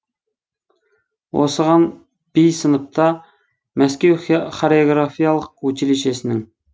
осыған би сыныпта мәскеу хореографиялық училищесінің